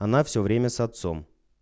она все время с отцом